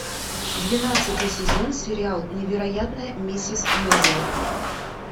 двенадцатый сезон сериал невероятная миссис мейзел